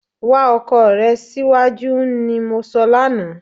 Wá ọkọ rè síwájú ni mo sọ lánàá